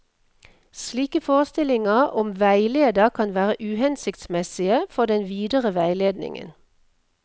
Slike forestillinger om veileder kan være uhensiktsmessige for den videre veiledningen.